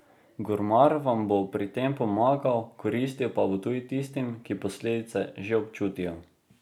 Gurmar vam bo pri tem pomagal, koristil pa bo tudi tistim, ki posledice že občutijo.